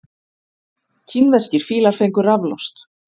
Kínverskir fílar fengu raflost